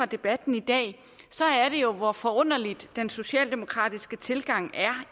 debatten i dag er det jo hvor forunderlig den socialdemokratiske tilgang er